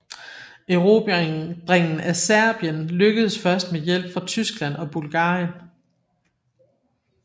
Erobringen af Serbien lykkedes først med hjælp fra Tyskland og Bulgarien